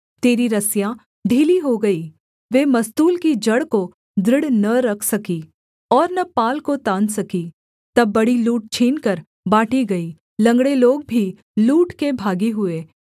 तेरी रस्सियाँ ढीली हो गईं वे मस्तूल की जड़ को दृढ़ न रख सकीं और न पाल को तान सकीं तब बड़ी लूट छीनकर बाँटी गई लँगड़े लोग भी लूट के भागी हुए